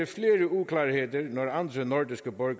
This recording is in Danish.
flere uklarheder når andre nordiske borgere